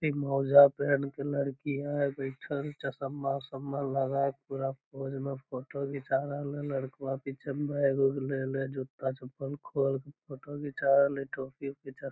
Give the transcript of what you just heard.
एक मौजा पेहेन के लड़की है बइठल चश्मा-उस्मा लगा के पूरा पोज़ में फोटो घीचा रहले लड़कवा पीछा में बैग उग लेले जुता-चप्पल खोल के फोटो घींचा रहले टोपी ओपी चश --